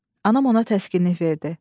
Anam ona təskinlik verdi.